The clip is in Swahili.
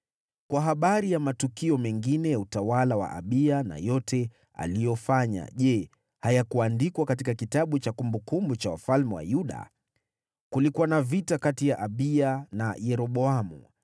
Kwa habari ya matukio mengine ya utawala wa Abiya na yote aliyofanya, je, hayakuandikwa katika kitabu cha kumbukumbu za wafalme wa Yuda? Kulikuwa na vita kati ya Abiya na Yeroboamu.